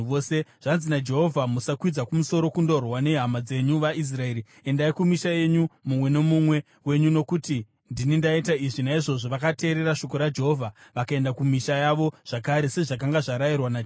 ‘Zvanzi naJehovha: Musakwidza kumusoro kundorwa nehama dzenyu, vaIsraeri. Endai kumisha yenyu mumwe nomumwe wenyu, nokuti ndini ndaita izvi.’ ” Naizvozvo vakateerera shoko raJehovha vakaenda kumisha yavo zvakare, sezvakanga zvarayirwa naJehovha.